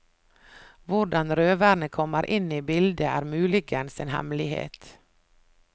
Hvordan røverne kommer inn i bildet, er muligens en hemmelighet.